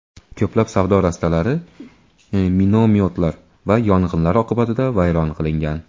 Ko‘plab savdo rastalari minomyotlar va yong‘inlar oqibatida vayron qilingan.